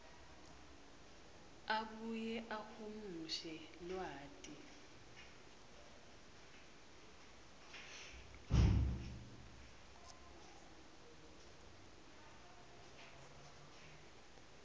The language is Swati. abuye ahumushe lwati